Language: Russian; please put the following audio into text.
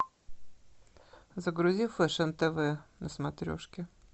загрузи фешн тв на смотрешке